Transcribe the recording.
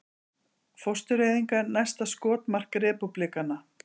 Fóstureyðingar næsta skotmark repúblikana